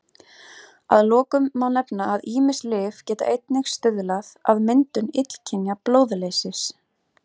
Að lokum má nefna að ýmis lyf geta einnig stuðlað að myndun illkynja blóðleysis.